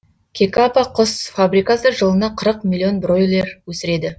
кекака құс фабрикасы жылына қырық миллион бройлер өсіреді